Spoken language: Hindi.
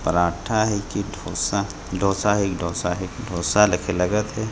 पराठा हे कि ढ़ोसा डोसा है ढ़ोसा है डोसा ले के लगत हे।